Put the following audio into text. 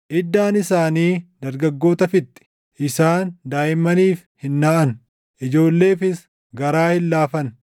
Iddaan isaanii dargaggoota fixxi; isaan daaʼimmaniif hin naʼan; ijoolleefis garaa hin laafan.